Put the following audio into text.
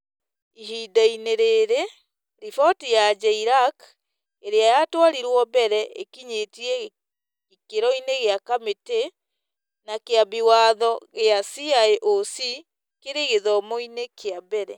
Ihinda-inĩ rĩrĩ, riboti ya JLAC, ĩrĩa yatwarirũo mbere, ĩkinyĩtĩ gĩkĩro-inĩ gĩa kamĩtĩ, na Kĩambi Watho kĩa CIOC kĩrĩ gĩthomo-inĩ kĩa mbere.